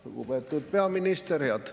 Lugupeetud peaminister!